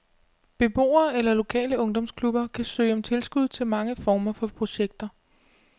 Beboere eller lokale ungdomsklubber kan søge om tilskud til mange former for projekter.